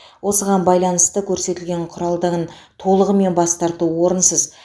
осыған байланысты көрсетілген құралдығын толығымен бас тарту орынсыз